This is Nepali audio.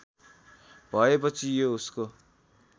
भएपछि यो उसको